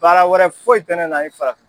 Baara wɛrɛ foyi tɛ ne na ni farafin